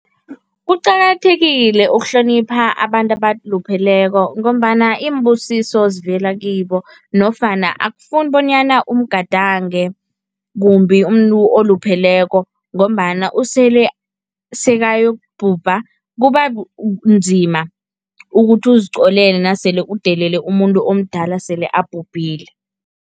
Kuqakathekile ukuhlonipha abantu abalupheleko ngombana iimbusiso zivela kibo nofana akufuni bonyana umgadange kumbi umuntu olupheleko ngombana usele sekayokubhubha, kubanzima ukuthi uziqolele nasele udelele umuntu omdala sele abhubhile.